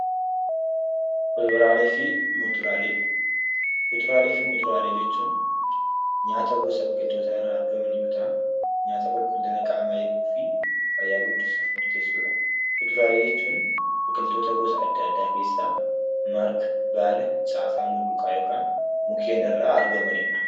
Kuduraalee fi muduraalee jechuun nyaata gosa biqiltoota irraa argaman yoo ta'an, nyaata qulqullina qaamaa eeguu fi fayyaa guddisuuf murteessudha. Kuduraalee jechuun biqiltoota gosa adda addaa keessaa marga, baala, caasaa mulluqaa yookaan mukkeen irraa argamanidha.